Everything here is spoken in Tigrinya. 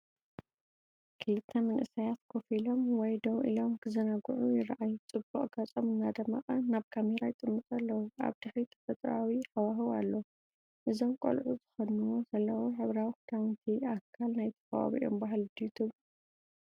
ክልተ መንእሰያት ኮፍ ኢሎም ወይ ደው ኢሎም ክዘናግዑ ይረኣዩ። ጽቡቕ ገጾም እናደመቐ ናብ ካሜራ ይጥምቱ ኣለዉ። ኣብ ድሕሪት ተፈጥሮኣዊ ሃዋህው ኣሎ። እዞም ቆልዑ ዝኽደንዎ ዘለዉ ሕብራዊ ክዳውንቲ ኣካል ናይቲ ከባቢኦም ባህሊ ድዩ ትብሉ?